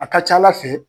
A ka ca ala fɛ